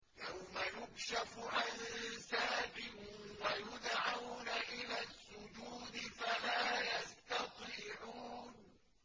يَوْمَ يُكْشَفُ عَن سَاقٍ وَيُدْعَوْنَ إِلَى السُّجُودِ فَلَا يَسْتَطِيعُونَ